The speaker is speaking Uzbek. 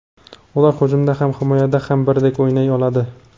Ular hujumda ham, himoyada ham birdek o‘ynay oladi.